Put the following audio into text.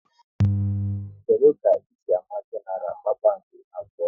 Kedụ ka ị si ámá Genaral kpakpando abụọ?